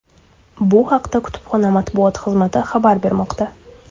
Bu haqda kutubxona matbuot xizmati xabar bermoqda.